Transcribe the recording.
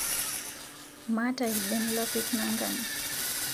Maata lben lapik nangan